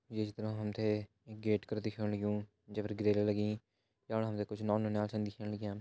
ये चित्र मा हम तें एक गेट कर दिखेण लग्युं जै पर ग्रिल लगीं यफणा हम तें कुछ नौन नौनियाल छन दिखेण लग्यां।